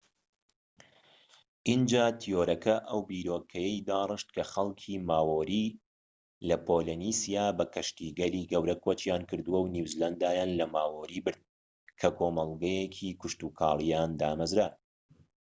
ئینجا تیۆرەکە ئەو بیرۆکەیەی داڕشت کە خەڵکی ماوۆری لە پۆلینێسیا بە کەشتیگەلی گەورە کۆچیان کردووە و نیوزیلاندایان لە ماوۆری برد کە کۆمەڵگەیەکی کشتوکاڵییان دامەزراند